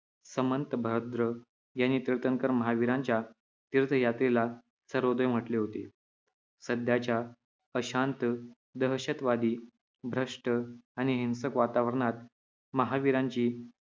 समंतभद्र यांनी तीर्थंकर महावीरांच्या तीर्थयात्रेला सर्वोदय म्हटले होते. सध्याच्या अशांत, दहशतवादी, भ्रष्ट आणि हिंसक वातावरणात महावीरांची